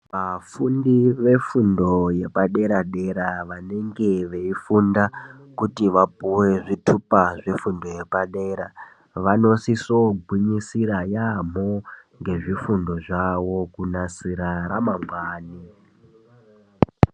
Vafundi vefundo yepadera dera vanenge veifunda kuti vapuwe zvithupa zvefundo yepadera, vanosiso kugwinyisira yeyamho ngezvifundo zvavo kunasira ramangwani.